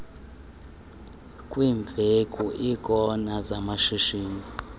kwiimveku iikona zamashishini